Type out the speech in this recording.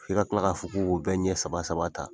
F'i ka kila ka fɔ k'u ko bɛ ɲɛ saba saba ta.